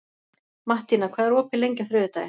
Mattína, hvað er opið lengi á þriðjudaginn?